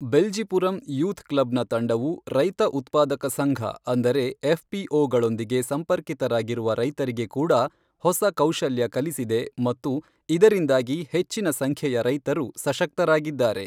Beljipuram youth ಕ್ಲಬ್ನ ತಂಡವು, ರೈತ ಉತ್ಪಾದಕ ಸಂಘ ಅಂದರೆ, ಎಫ್ಪಿಓ ಗಳೊಂದಿಗೆ ಸಂಪರ್ಕಿತರಾಗಿರುವ ರೈತರಿಗೆ ಕೂಡಾ ಹೊಸ ಕೌಶಲ್ಯ ಕಲಿಸಿದೆ ಮತ್ತು ಇದರಿಂದಾಗಿ ಹೆಚ್ಚಿನ ಸಂಖ್ಯೆಯ ರೈತರು ಸಶಕ್ತರಾಗಿದ್ದಾರೆ.